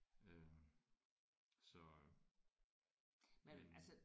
Øh så hm